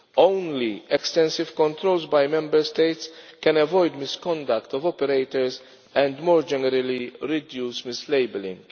Only extensive controls by Member States can avoid misconduct of operators and more generally reduce mislabelling.